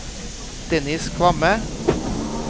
Dennis Kvamme